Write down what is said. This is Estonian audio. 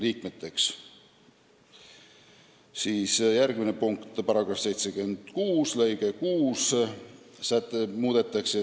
Edasi, järgmine punkt: § 76 täiendatakse lõikega 6.